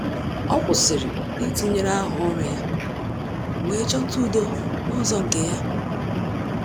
Ọ́ kwụ́sị̀rị̀ ítụ́nyéré áhá ọ́rụ́ ya wee chọ́tá udo n’ụ́zọ́ nke ya.